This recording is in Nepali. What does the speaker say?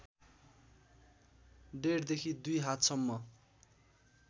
डेढदेखि दुई हातसम्म